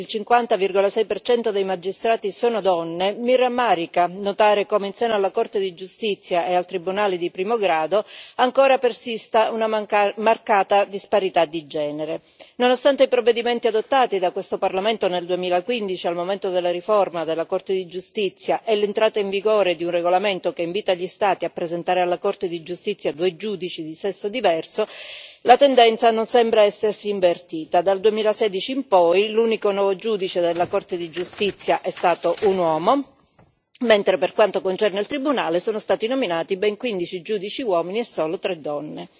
Signora Presidente, onorevoli colleghi, da donna, già magistrato in Italia un paese nel quale, oggi, il 50,6 dei magistrati sono donne mi rammarica notare come, in seno alla Corte di giustizia e al Tribunale, ancora persista una marcata disparità di genere. Nonostante i provvedimenti adottati da questo Parlamento nel 2015 al momento della riforma della Corte di Giustizia e l'entrata in vigore di un regolamento che invita gli Stati a presentare alla Corte di Giustizia 2 giudici di sesso diverso, la tendenza non sembra essersi invertita. Dal 2016 in poi, l'unico nuovo giudice della Corte di giustizia è stato un uomo, mentre per quanto concerne il Tribunale, sono stati nominati ben 15 giudici uomini e solo 3 donne.